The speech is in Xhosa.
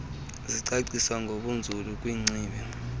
zicaciswe ngokunzulu kwingcibi